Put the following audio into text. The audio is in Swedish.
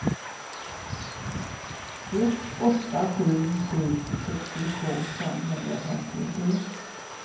ett åtta sju sju sextiotvå femhundrafemtiotre